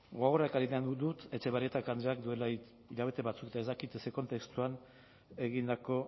gogora ekarri nahi dut etxebarrieta andreak duela hilabete batzuk eta ez dakit ze kontestuan egindako